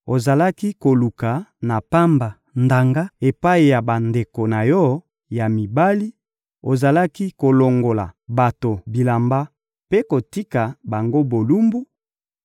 Ozalaki koluka na pamba ndanga epai ya bandeko na yo ya mibali, ozalaki kolongola bato bilamba mpe kotika bango bolumbu,